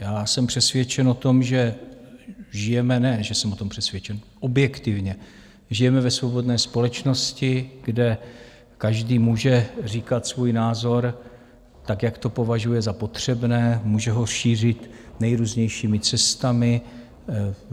Já jsem přesvědčen o tom, že žijeme, ne že jsem o tom přesvědčen, objektivně žijeme ve svobodné společnosti, kde každý může říkat svůj názor tak, jak to považuje za potřebné, může ho šířit nejrůznějšími cestami.